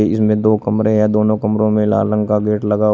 इ-इसमें दो कमरे हैं। दोनों कमरों में लाल रंग का गेट लगा --